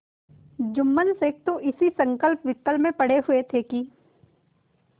जुम्मन शेख तो इसी संकल्पविकल्प में पड़े हुए थे कि